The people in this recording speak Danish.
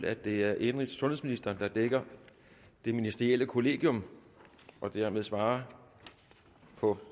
at det er indenrigs og sundhedsministeren der dækker det ministerielle kollegium og dermed svarer på